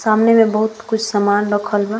सामने में बहुत कुछ सामान रखल बा।